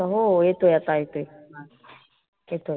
हो येतोय आता येतोय येतोय.